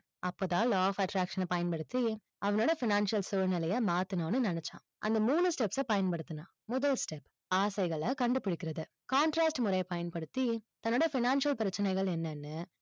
அப்போதான் law of attraction அ பயன்படுத்தி, அவனோட financial சூழ்நிலைய மாத்தணும்னு நினைச்சான். அந்த மூணு steps அ பயன்படுத்தினான். முதல் step ஆசைகளை கண்டுபிடிக்கிறது contrast முறையை பயன்படுத்தி, தன்னுடைய financial பிரச்சனைகள் என்னென்ன?